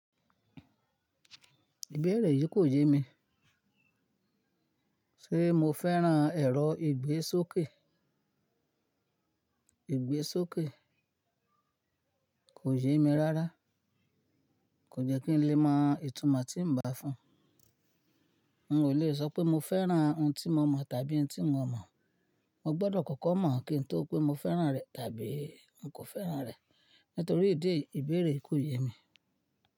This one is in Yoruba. Ìbéèrè yìí kò yé mi. Ṣé mo fẹ́ràn ẹ̀rọ ìgbésókè? Ìgbésókè kò yé mi rárá. Kò jẹ́ kí n lè mọ ìtumọ̀ tí ń bá fún. N ò le sọ pé mo fẹ́ràn ohun tí mo mọ̀ tàbí ohun tí n mọ̀. Mo gbọdọ̀ kọ́kọ́ mọ̀ kín n tó pé mo fẹ́ràn rẹ̀ tàbí n kò fẹ́ràn rẹ̀. Nítorí ìdí èyí ìbéèrè kò yé mi.